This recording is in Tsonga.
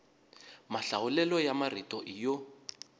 mahlawulelo ya marito i yo